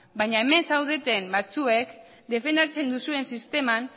baina hemen zaudeten batzuek defendatzen duzuen sisteman